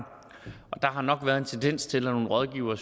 der har nok været en tendens til at nogle rådgivere